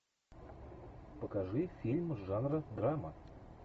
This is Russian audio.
покажи фильм жанра драма